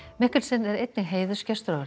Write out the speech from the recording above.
Mikkelsen er einnig heiðursgestur á